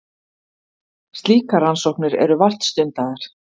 Slíkar rannsóknir eru vart stundaðar.